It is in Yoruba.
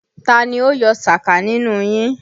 Ta ni ó yọ sàká nínú yín!